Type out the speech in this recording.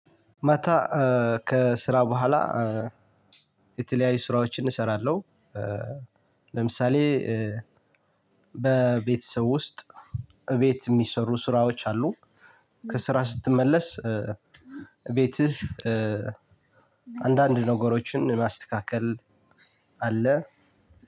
ማታ ከስራ በኋላ የተለያዩ ስራዎችን እሰራለሁ። ለምሳሌ በቤተሰብ ውስጥ እቤት የሚሰሩ ስራዎች አሉ። ከስራ ስትመለስ። ቤትህ አንዳንድ ነገሮችን ማስተካከል አለ።